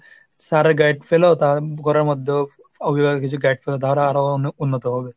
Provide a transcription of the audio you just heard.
sir এর guide পেলেও তার ঘরের মধ্যেও অভিভাবক কিছু guide পেল তাঁরা আরো অনেক উন্নত হবে।